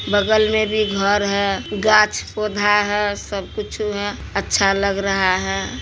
बगल मे भी घर है गाछ पौधा है सब कुछु है अच्छा लग रहा है।